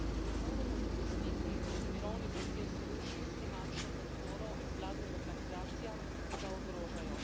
Ne moremo dopustiti, da se mirovni proces ruši s finančno podporo nevladnim organizacijam, ki ga ogrožajo.